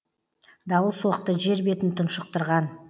дауыл соқты жер бетін тұншықтырған